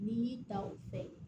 N'i y'i ta o fɛ